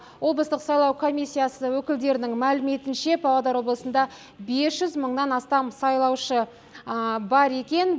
облыстық сайлау комиссиясы өкілдерінің мәліметінше павлодар облысында бес жүз мыңнан астам сайлаушы бар екен